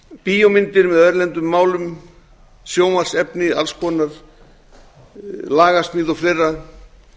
bíómyndir með erlendum málum sjónvarpsefni alls konar lagasmíð og fleira